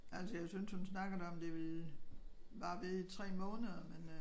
Altså jeg synes hun snakkede om det ville vare ved i 3 måneder men øh